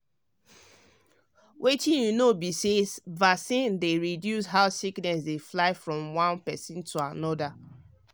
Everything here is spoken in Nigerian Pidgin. wetin you know be say vaccine dey reduce how sickness dey fly from one person to another.